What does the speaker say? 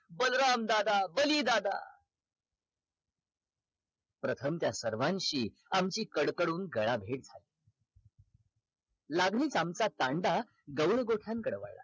बलराम दादा बली दादा प्रथम त्या सर्वांशी आमची कडकडून गळाभेट लागलीच आमचा तांडा गौड गोठ्याकडे वळला